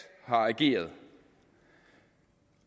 har ageret og